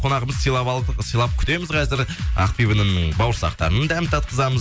қонағымызды сыйлап алып сыйлап күтеміз қазір ақбибінің бауырсақтарының дәмін татқызамыз